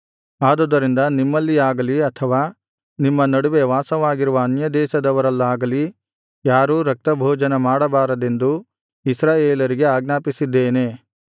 ಆದುದರಿಂದ ನಿಮ್ಮಲ್ಲಿಯಾಗಲಿ ಅಥವಾ ನಿಮ್ಮ ನಡುವೆ ವಾಸವಾಗಿರುವ ಅನ್ಯದೇಶದವರಲ್ಲಾಗಲಿ ಯಾರೂ ರಕ್ತಭೋಜನ ಮಾಡಬಾರದೆಂದು ಇಸ್ರಾಯೇಲರಿಗೆ ಆಜ್ಞಾಪಿಸಿದ್ದೇನೆ